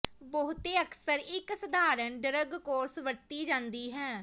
ਬਹੁਤੇ ਅਕਸਰ ਇੱਕ ਸਧਾਰਨ ਡਰੱਗ ਕੋਰਸ ਵਰਤੀ ਜਾਂਦੀ ਹੈ